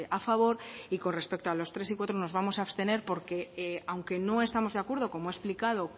a favor y con respecto a los tres y cuatro nos vamos a abstener porque aunque no estamos de acuerdo como he explicado